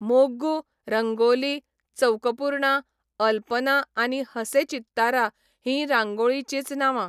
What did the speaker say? मोग्गू, रंगोली, चौकपूर्णा, अल्पना आनी हसे चित्तारा हींय रांगोळीचीच नावां.